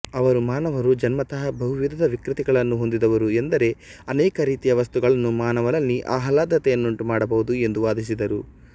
ಅವರು ಮಾನವನು ಜನ್ಮತಃ ಬಹುವಿಧದ ವಿಕೃತಿಗಳನ್ನು ಹೊಂದಿದವನು ಎಂದರೆ ಅನೇಕ ರೀತಿಯ ವಸ್ತುಗಳು ಮಾನವನಲ್ಲಿ ಆಹ್ಲಾದತೆಯನ್ನುಂಟು ಮಾಡಬಹುದು ಎಂದು ವಾದಿಸಿದರು